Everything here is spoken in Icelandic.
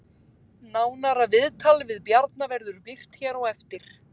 Nánara viðtal við Bjarna verður birt hér á eftir